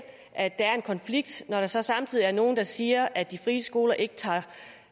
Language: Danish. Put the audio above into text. at der er en konflikt når der så samtidig er nogle der siger at de frie skoler ikke tager